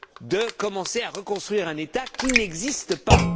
pour commencer à reconstruire un État qui n'existe pas.